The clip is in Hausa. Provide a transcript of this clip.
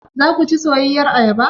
Zaku ci soyayyar ayaba?